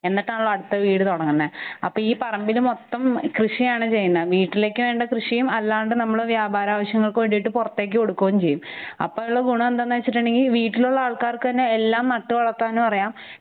എന്നിട്ടാണല്ലൊ അടുത്ത വീട് തുടങ്ങുന്നെ. അപ്പ ഈ പറമ്പില് മൊത്തം കൃഷിയാണ് ചെയ്യുന്നെ. വീട്ടിലേക്ക് വേണ്ട കൃഷിയും അല്ലാണ്ട് നമ്മള് വ്യാപാരാവശ്യത്തിനുവേണ്ടി പുറത്തേക്കു കൊടുക്കുകയും ചെയ്യും. അപ്പഉള്ള ഗുണ എന്താന്ന് വെച്ചിട്ടുങ്കിൽ വീട്ടിലുള്ള ആൾക്കാർക്ക് തന്നെ എല്ലാം നട്ടുവളർത്താനുഅറിയാം